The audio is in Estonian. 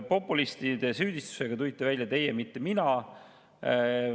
Populismis süüdistusega tulite välja teie, mitte mina.